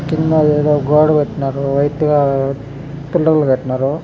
కింద ఎదో గోడ కట్టినారు. వైట్ గా పిల్లర్లో కట్టినారు.